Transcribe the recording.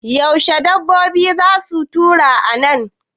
Yaushe dabbobin za su taru a nan?